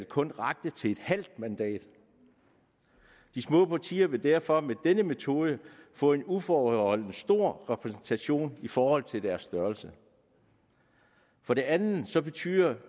kun rakte til et halvt mandat de små partier vil derfor med denne metode få en uforholdsmæssig stor repræsentation i forhold til deres størrelse for det andet betyder